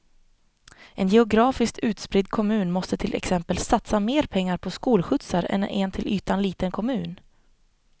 En geografiskt utspridd kommun måste till exempel satsa mer pengar på skolskjutsar än en till ytan liten kommun.